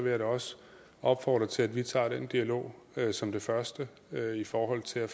jeg da også opfordre til at vi tager den dialog som det første i forhold til at